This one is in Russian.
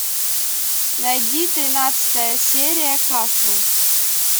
найди тринадцатая серия касл